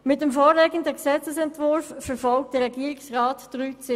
Mit dem vorliegenden Gesetzesentwurf verfolgt der Regierungsrat drei Ziele.